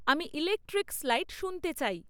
আমি electric slide শুনতে চাই